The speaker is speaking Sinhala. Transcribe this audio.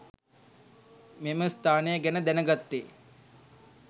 මේම ස්ථානය ගැන දැනගත්තේ